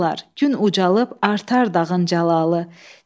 Gün ucalıb artar dağın cəlalı.